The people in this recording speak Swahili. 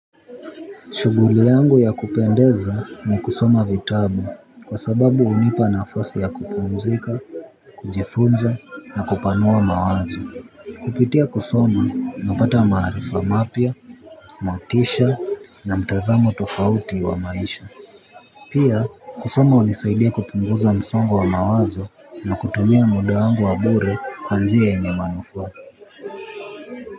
Shuguli yangu ya kupendeza ni kusoma vitabu kwa sababu hunipa nafasi ya kupumzika. Kujifunza na kupanua mawazo. Kupitia kusoma napata maarifa mapya, natisha na mtazamo tofauti wa maisha. Pia kusoma hunisaidia kupunguza msongo wa mawazo na kutumia muda wangu wa bure kwa njia yenye manufaa.